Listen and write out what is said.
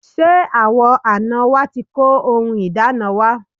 Ṣé àwọn àná wa ti kó ohun ìdána wa?